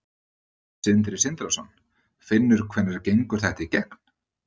Sindri Sindrason: Finnur hvenær gengur þetta í gegn?